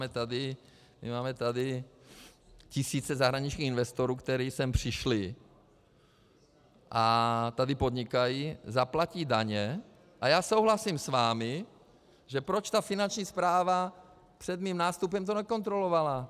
My máme tady tisíce zahraničních investorů, kteří sem přišli a tady podnikají, zaplatí daně - a já souhlasím s vámi, že proč ta Finanční správa před mým nástupem to nekontrolovala?